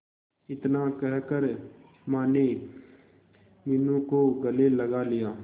इतना कहकर माने मीनू को गले लगा लिया